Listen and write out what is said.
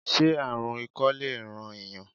Se aarun ikọ le ran eeyan?